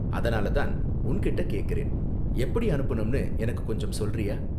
அதனால தான் உன்கிட்ட கேக்கறேன், எப்படி அனுப்பனும்ணு எனக்கு கொஞ்சம் சொல்றியா?